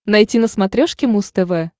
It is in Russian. найти на смотрешке муз тв